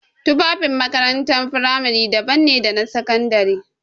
Tufafin makarantar firamare daban ne da sakandare.